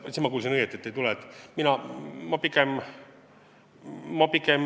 Jah, siis ma kuulsin õigesti, et mis saab, kui seda ei tule.